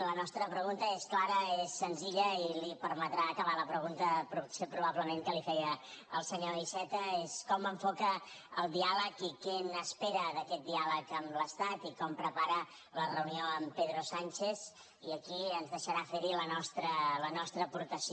la nostra pregunta és clara és senzilla i li permetrà acabar la pregunta probablement que li feia el senyor iceta és com enfoca el diàleg i què n’espera d’aquest diàleg amb l’estat i com prepara la reunió amb pedro sánchez i aquí ens deixarà fer hi la nostra aportació